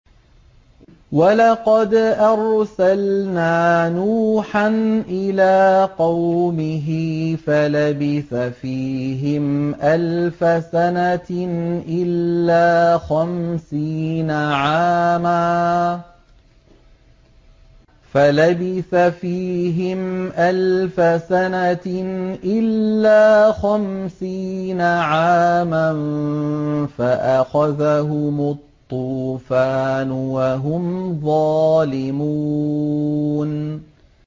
وَلَقَدْ أَرْسَلْنَا نُوحًا إِلَىٰ قَوْمِهِ فَلَبِثَ فِيهِمْ أَلْفَ سَنَةٍ إِلَّا خَمْسِينَ عَامًا فَأَخَذَهُمُ الطُّوفَانُ وَهُمْ ظَالِمُونَ